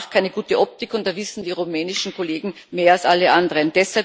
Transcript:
Das macht keine gute Optik, und da wissen die rumänischen Kollegen mehr als alle anderen.